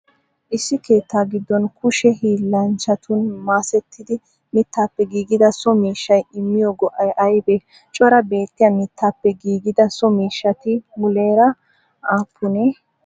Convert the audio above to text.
issi keettaa giddon kushe hillanchatun masetidi mittappe giggidaa so miishshay immiyo go'ay aybee? Cora beettiyaa mittappe giggidaa so miishshati muleera appune?